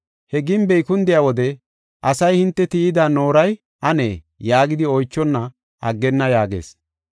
He gimbey kundiya wode asay hinte tiyida nooray anee? yaagidi oychonna aggane” yaagees.